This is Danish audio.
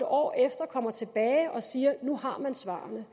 år efter kommer tilbage og siger at nu har man svarene